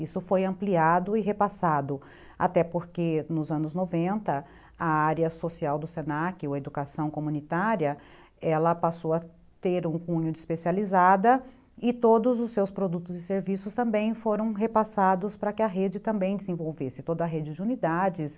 Isso foi ampliado e repassado, até porque nos anos noventa a área social do se na que, ou Educação Comunitária, ela passou a ter um cunho de especializada e todos os seus produtos e serviços também foram repassados para que a rede também desenvolvesse, toda a rede de unidades,